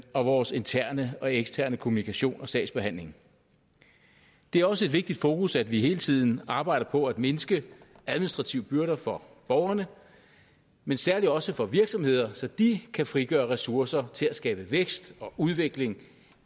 og vores interne og eksterne kommunikation og sagsbehandling det er også et vigtigt fokus at vi hele tiden arbejder på at mindske administrative byrder for borgerne men særlig også for virksomheder så de kan frigøre ressourcer til at skabe vækst og udvikling